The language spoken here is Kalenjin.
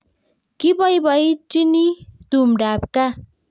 Kibaibaitynchini tumdab kaa